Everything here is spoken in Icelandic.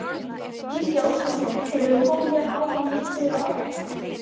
Gísli Óskarsson: Hefurðu komið hérna áður og litið yfir afköstin?